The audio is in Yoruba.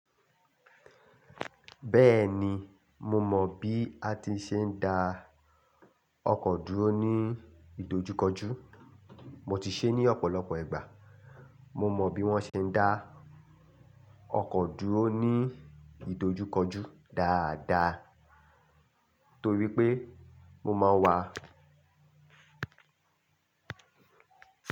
Béèni mo mò bí a tí sé ń da okò dúró ní ìdojúkojú mo ti sé ní òpòlopò ìgbà mo mò bí wón se ń dá okò dúró ní ìdojúkojú dáada, nítorí pé mo máa ń wa.